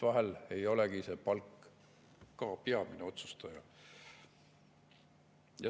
Vahel ei olegi palk peamine.